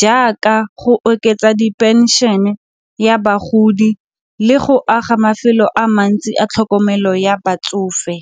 jaaka go oketsa diphenšene ya bagodi le go aga mafelo a mantsi a tlhokomelo ya batsofe.